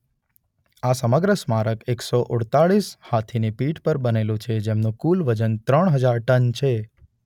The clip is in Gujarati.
આ સમગ્ર સ્મારક એકસો અડતાલીસ હાથીની પીઠ પર બનેલુ છે જેમનુ કુલ વજન ત્રણ હજાર ટન છે.